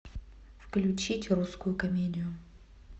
включить русскую комедию